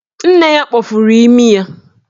Nne ya kpọfuru imi ya.